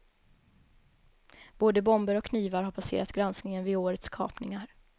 Både bomber och knivar har passerat granskningen vid årets kapningar.